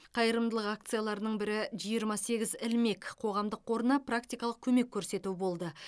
қайырымдылық акцияларының бірі жиырма сегіз ілмек қоғамдық қорына практикалық көмек көрсету болды